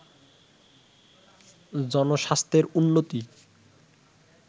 জনস্বাস্থ্যের উন্নতি